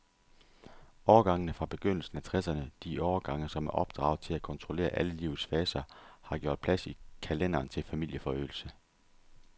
Årgangene fra begyndelsen af tresserne, de årgange, som er opdraget til at kontrollere alle livets faser, har gjort plads i kalenderen til familieforøgelse.